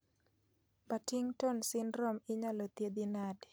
Partington syndrome inyalo thiedhi nade